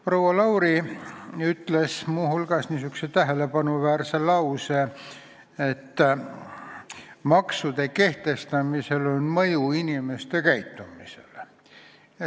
Proua Lauri ütles muu hulgas tähelepanuväärse lause, et maksude kehtestamisel on mõju inimeste käitumisele.